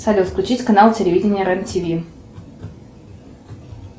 салют включить канал телевидения рен тиви